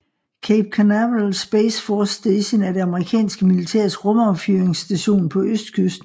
Cape Canaveral Space Force Station er det amerikanske militærs rumaffyringsstation på østkysten